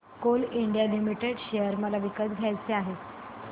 Coal India Limited share मला विकत घ्यायचे आहेत